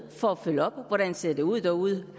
for at følge op på hvordan det ser ud derude